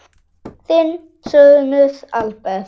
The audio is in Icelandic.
Þinn sonur, Albert.